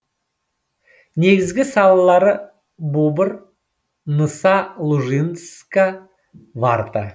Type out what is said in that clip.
негізгі салалары бубр ныса лужицка варта